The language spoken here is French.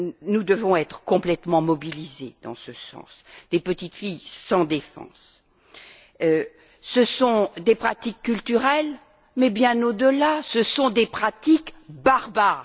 Nous devons être entièrement mobilisés, dans ce sens, pour les petites filles sans défense. Ce sont des pratiques culturelles mais, bien au delà, ce sont des pratiques barbares.